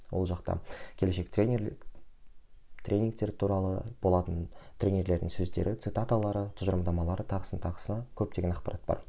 ол жақта келешек тренерлік тренингтер туралы болатын тренерлердің сөздері цитаталары тұжырымдамалары тағысын тағысы көптеген ақпарат бар